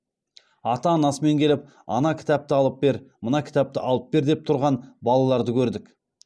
ата анасымен келіп ана кітапты алып бер мына кітапты алып бер деп тұрған балаларды көрдік